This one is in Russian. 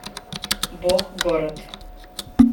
бог город